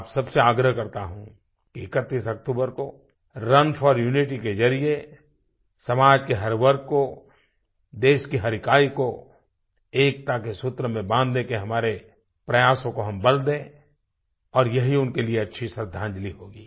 मैं आप सब से आग्रह करता हूँ कि 31 अक्तूबर को रुन फोर Unityके ज़रिये समाज के हर वर्ग को देश की हर इकाई को एकता के सूत्र में बांधने के हमारे प्रयासों को हम बल दें और यही उनके लिए अच्छी श्रद्धांजलि होगी